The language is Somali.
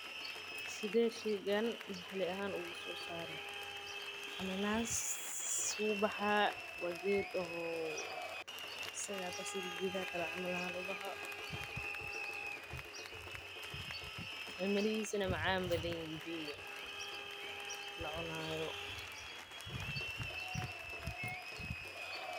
Sidee sheygan wax looga saara waa geed sida geedaha kale ubaxo oo macaan badan.